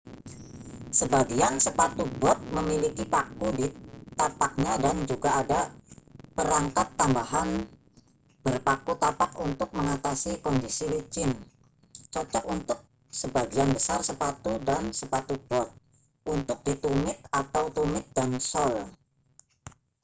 sebagian sepatu bot memiliki paku di tapaknya dan juga ada perangkat tambahan berpaku tapak untuk mengatasi kondisi licin cocok untuk sebagian besar sepatu dan sepatu bot untuk di tumit atau tumit dan sol